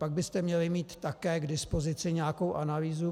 Pak byste měli mít také k dispozici nějakou analýzu.